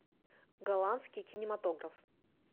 голландский кинематограф